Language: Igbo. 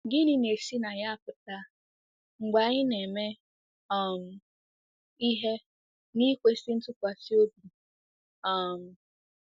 Gịnị na-esi na ya apụta mgbe anyị ‘ na-eme um ihe n’ikwesị ntụkwasị obi ’ um?